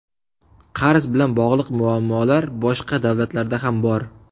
Qarz bilan bog‘liq muammolar boshqa davlatlarda ham bor.